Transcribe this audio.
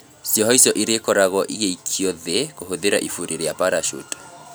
Cioho icio cirĩkoragwo igĩikio thĩ kũhũthĩra iburi rĩa Parachute